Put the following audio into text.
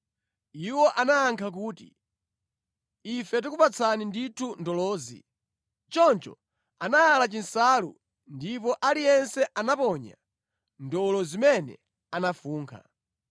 Iwo anayankha kuti, “Ife tikupatsani ndithu ndolozi.” Choncho anayala chinsalu, ndipo aliyense anaponyapo ndolo zimene anafunkha.